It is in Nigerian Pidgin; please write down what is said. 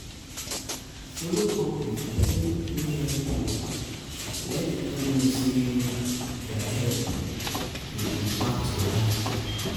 follow up with person wey help you to let them know sey their help dey impact your life